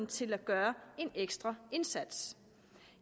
til at gøre en ekstra indsats